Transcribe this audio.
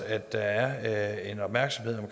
at der er en opmærksomhed